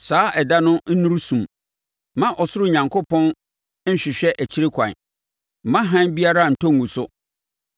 Saa ɛda no nnuru sum; mma Ɔsoro Onyankopɔn nhwehwɛ akyire kwan; mma hann biara ntɔ ngu so.